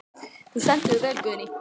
Þú stendur þig vel, Guðný!